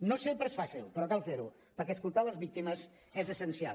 no sempre és fàcil però cal fer ho perquè escoltar les víctimes és essencial